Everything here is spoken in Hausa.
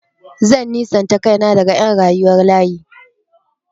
Zan nisanta kaina daga ƴan rayuwar layi.